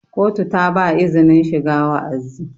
kotu ta ba izinin shiga wa'azi